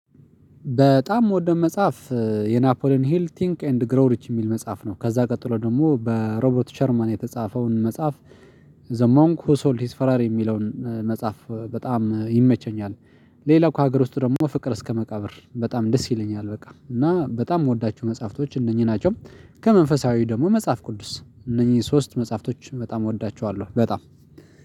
በጣም የምወደው መጽሐፍ የናፖሊን ሂል ቲንክ ኤንድ ግሮ ሪች የሚል መጽሐፍ ነው ከዛ ቀጥሎ ደግሞ በሮቦርት ቸርማን የተጻፈውን መጽሐፍ ዘሞንክ ሁ ሶልድ ሂስ ፈራር የሚለውን መጽሐፍ በጣም ይመቸኛል። ሌላው ከሀገር ውስጥ ደግሞ ፍቅር እስከ መቃብር በጣም ደስ ይለኛል በቃ እና በጣም የምወዳቸው መጽሐፍቶች እነኚህ ናቸው። ከመንፈሳዊ ደግሞ መጽሐፍ ቅዱስ እነኚህ ሶስት መጽሐፍቶችን በጣም እወዳቸዋለሁ በጣም